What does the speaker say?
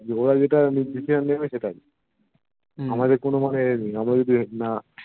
ওরা যেটা Decision নেবে সেটাই আমাদের কোনো মানে ইয়ে নেই আমরা যদি